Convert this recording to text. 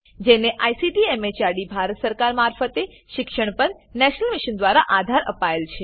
જેને ICT MHRD Bharat સરકાર મારફતે શિક્ષણ પર નેશનલ મિશન દ્વારા આધાર અપાયેલ છે